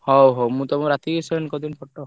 ହଉ ହଉ ମୁଁ ତମୁକୁ ରାତିକି send କରିଦେବି photo ।